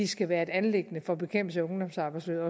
skal være et anliggende for bekæmpelse af ungdomsarbejdsløshed